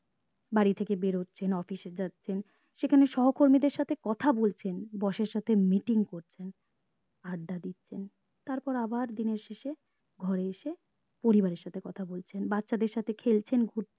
বাড়ি থেকে বেরোচ্ছেন office এ যাচ্ছেন সেখানে সহকর্মীদের সাথে কথা বলছেন boss এর সাথে meeting করছেন আড্ডা দিচ্ছেন তারপর আবার দিনের শেষে ঘরে এসে পরিবার এর সাথে কথা বলছেন বাচ্চাদের সাথে খেলছেন ঘু